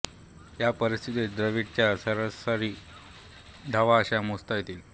या परिस्थितीत द्रविडच्या सरासरी धावा अशा मोजता येतील